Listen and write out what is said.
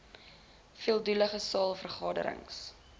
veeldoelige saal vergaderings